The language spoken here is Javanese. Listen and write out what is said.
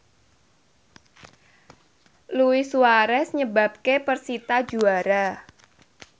Luis Suarez nyebabke persita juara